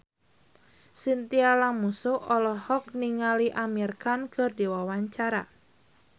Chintya Lamusu olohok ningali Amir Khan keur diwawancara